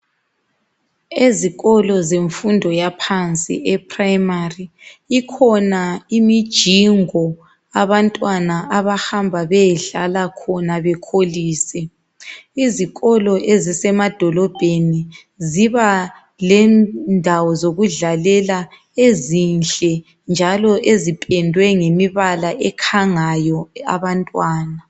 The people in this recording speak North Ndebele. Ezikolo zemfundo yaphansi, ephrayimari, ikhona imijingo abantwana abahamba beyedlala khona bekholise. Izikolo ezisemadolobheni zibalendawo zokudlalela ezinhle njalo ezipendwe ngemibala ekhangayo abantwana.